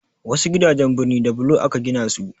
Wasu gidajen birni da bulo aka gina su.